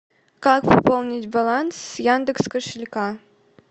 как пополнить баланс с яндекс кошелька